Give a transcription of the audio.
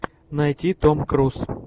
найти том круз